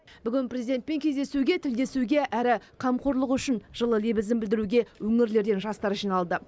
бүгін президентпен кездесуге тілдесуге әрі қамқорлығы үшін жылы лебізін білдіруге өңірлерден жастар жиналды